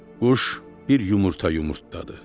Quş bir yumurta yumurtladı.